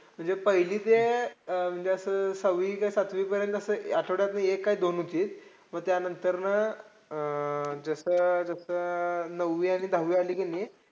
म्हणजे पहिली ते अं म्हणजे असं सहावी कि सातवीपर्यंत आठ्वड्यातनं एक काय दोन होती. मग त्यांनतर ना अं जसं जसं अं नववी आणि दहावी आली कि नै.